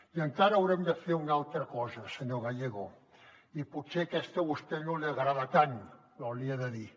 i encara haurem de fer una altra cosa senyor gallego i potser aquesta a vostè no li agrada tant però l’hi he de dir